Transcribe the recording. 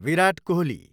Virat Kohli